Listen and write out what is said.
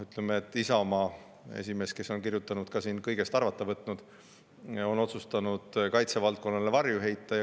Isamaa esimees, kes on kõige kohta võtnud, on otsustanud kaitsevaldkonnale varju heita.